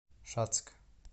шацк